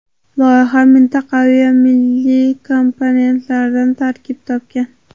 Loyiha mintaqaviy va milliy komponentlardan tarkib topgan.